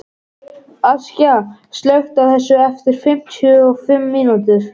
Askja, slökktu á þessu eftir fimmtíu og fimm mínútur.